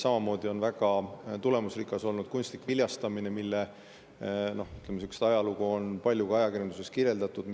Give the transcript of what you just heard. Samamoodi on väga tulemusrikas olnud kunstlik viljastamine, mille ajalugu on ka ajakirjanduses palju kirjeldatud.